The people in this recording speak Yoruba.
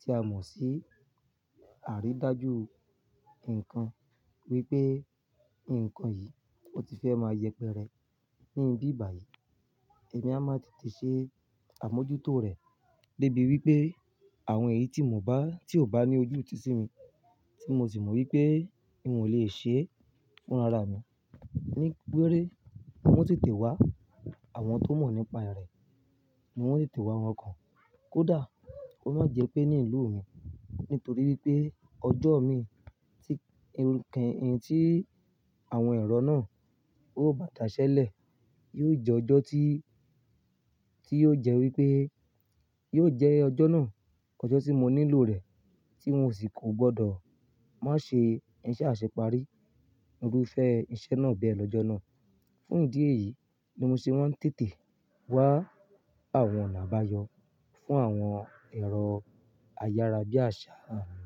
tí a mọ̀ sí àrídájú nǹkan wípé nǹkan yìí ó ti fẹ́ máa yẹpẹrẹ ní ibí bàyìí. Èmi a máa tètè ṣe àmójútó rè débi wípé àwọn èyí tí mò bá, tí ò bá ní ojútùú sí mi, tí mo sì mọ wípé mi ò lè ṣe fúnra ra mi, ní gbére mo ń tètè wá àwọn tó mọ̀ nípa rẹ̀, mo ń tètè wá àwọn kan. Kódà kó má jẹ pé ní ìlú mi nítorí wípé ọjọ́ mi tí ń kan ìhín tí àwọn èrò náà ó bá dà ṣẹlẹ̀, yóò jẹ́ ọjọ́ tí, tí yóò jẹ́ wípé, yóò jẹ́ ọjọ́ náà, ọjọ́ tí mo nílò rẹ̀ tí mo sì kò gbọdọ̀ má ṣe iṣẹ́ àṣepari. Iru fẹ́ iṣẹ́ náà bẹ lọ́jọ́ náà. Fún ìdí èyí ni mo ṣe wá ń tètè wá àwọn oná àbáyọ̀ fún àwọn èrò ayárábiàsà mi.